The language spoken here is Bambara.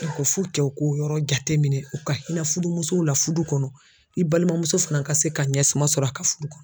u k'o yɔrɔ jateminɛ u ka hinɛ furumusow la furu kɔnɔ i balimamuso fana ka se ka ɲɛsuma sɔrɔ a ka furu kɔnɔ